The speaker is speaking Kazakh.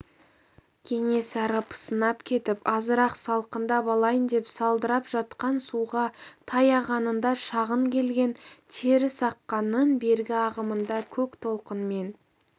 кенесары пысынап кетіп азырақ салқындап алайын деп сылдырап жатқан суға таяғанында шағын келген терісаққанның бергі ағымында көк толқынмен